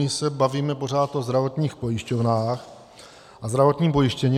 My se bavíme pořád o zdravotních pojišťovnách a zdravotním pojištění.